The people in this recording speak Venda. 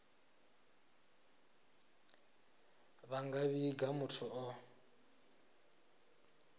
vha nga vhiga muthu o